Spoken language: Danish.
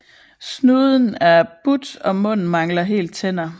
Snuden er but og munden mangler helt tænder